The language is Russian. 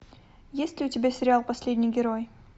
есть ли у тебя сериал последний герой